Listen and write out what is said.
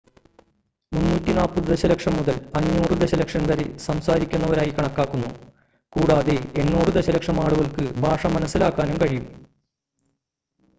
340 ദശലക്ഷം മുതൽ 500 ദശലക്ഷം വരെ സംസാരിക്കുന്നവരായി കണക്കാക്കുന്നു കൂടാതെ 800 ദശലക്ഷം ആളുകൾക്ക് ഭാഷ മനസ്സിലാക്കാനും കഴിയും